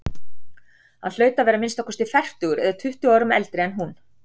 Hann hlaut að vera að minnsta kosti fertugur eða tuttugu árum eldri en hún.